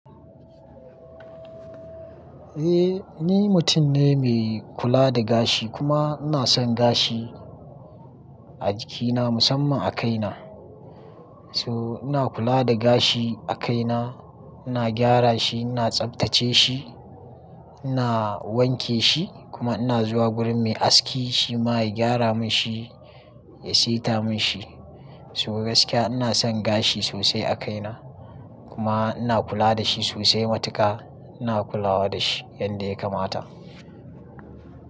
Eh ni mutum ne mai kula da gashi kuma ina son gashi a jikina musamman a kaina. So ina kula da gashi a kaina, ina gyara shi, ina tsaftace shi, ina wanke shi kuma ina zuwa wurin me aski shi ma ya gyara mun shi, ya saita mun shi. So gaskiya ina son gashi sosai a kaina kuma ina kula da shi sosai matuƙa ina kulawa da shi yanda ya kamata.